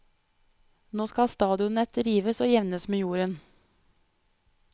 Nå skal stadionet rives og jevnes med jorden.